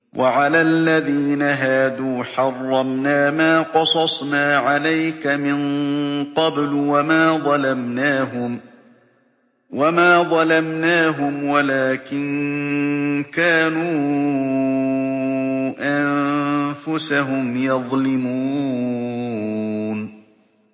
وَعَلَى الَّذِينَ هَادُوا حَرَّمْنَا مَا قَصَصْنَا عَلَيْكَ مِن قَبْلُ ۖ وَمَا ظَلَمْنَاهُمْ وَلَٰكِن كَانُوا أَنفُسَهُمْ يَظْلِمُونَ